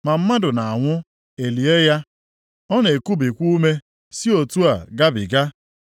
Ma mmadụ na-anwụ, e lie ya; ọ na-ekubikwa ume si otu a gabiga.